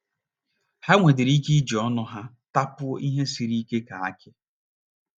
Ha nwedịrị ike iji ọnụ ha tapuo ihe sịrị ike ka akị.